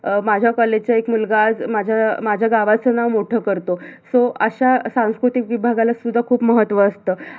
अं माझ्या college चा एक मुलगा आज माझ्या माझ्या गावच नाव मोठ करतो so अशा सांस्कृतिक विभागाला सुद्धा खूप महत्त्व असत